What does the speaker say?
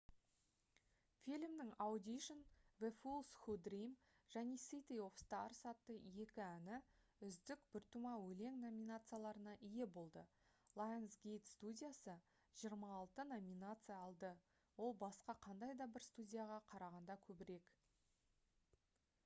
фильмнің audition the fools who dream және city of stars атты екі әні «үздік біртума өлең» номинацияларына ие болды. lionsgate студиясы 26 номинация алды - ол басқа қандай да бір студияға қарағанда көбірек